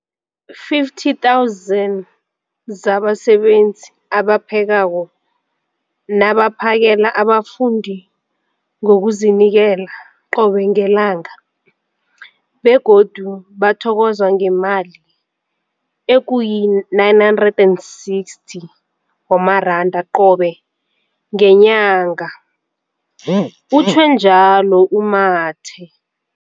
50 000 zabasebenzi abaphekako nabaphakela abafundi ngokuzinikela qobe ngelanga, begodu bathokozwa ngemali ema-960 wamaranda qobe ngenyanga, utjhwe njalo u-Mathe.